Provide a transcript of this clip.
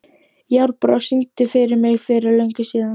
Járnbrá, syngdu fyrir mig „Fyrir löngu síðan“.